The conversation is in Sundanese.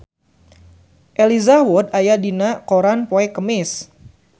Elijah Wood aya dina koran poe Kemis